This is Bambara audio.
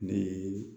Ne ye